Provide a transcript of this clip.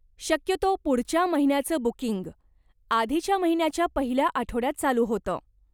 शक्यतो पुढच्या महिन्याचं बुकिंग, आधीच्या महिन्याच्या पहिल्या आठवड्यात चालू होतं.